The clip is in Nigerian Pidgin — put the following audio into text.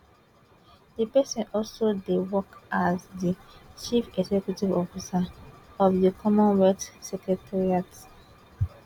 di pesin also dey work as di chief executive officer of di commonwealth secretariat